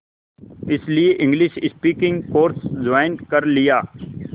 इसलिए English speaking course join कर लिया